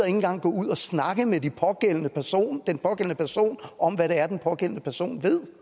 engang gå ud og snakke med den pågældende person om hvad det er den pågældende person ved